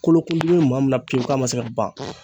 Kolokundimi be maa min maa min na pewu k'a ma se ka ban